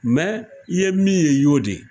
Mɛ i ye min ye i y'o de ye.